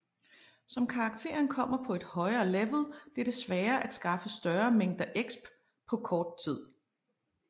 Som characteren kommer på et højere level bliver det sværere at skaffe større mængder exp på kort tid